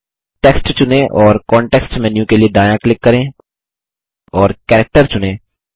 text चुनें और context menu के लिए दायाँ क्लिक करें और Characterचुनें